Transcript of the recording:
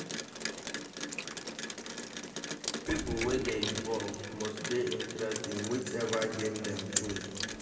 Pipo wey de involve must de interest in which ever game them choose